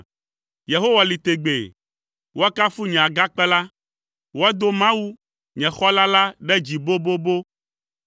Yehowa li tegbee! Woakafu nye Agakpe la! Woado Mawu, nye Xɔla la, ɖe dzi bobobo!